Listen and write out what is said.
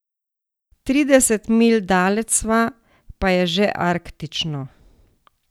Trideset milj daleč sva, pa je že arktično.